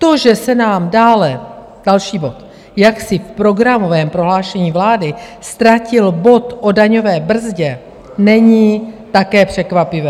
To, že se nám dále, další bod, jaksi v programovém prohlášení vlády ztratil bod o daňové brzdě, není také překvapivé.